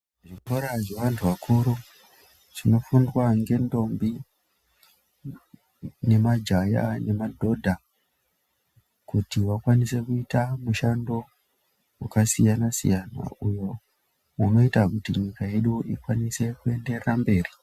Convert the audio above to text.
Zvikora zvevantu vakuru chinofundwa ngendombi, nemajaya nemadhodha kuti vakwaise kuita mushando waka siyana siyana unoita kuti nyika yedu ikwanise kuenderera mberi.